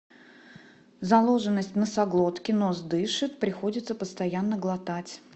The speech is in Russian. заложенность в носоглотке нос дышит приходится постоянно глотать